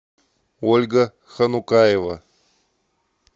ольга ханукаева